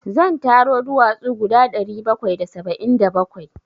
Zan taro duwatsu guda ɗari bakwai da saba'in da bakwai.